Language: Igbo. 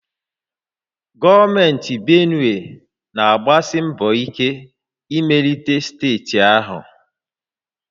Gọọmenti Benue na-agbasi mbọ ike imelite steeti ahụ